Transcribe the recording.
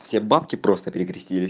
все бабки просто перекрестились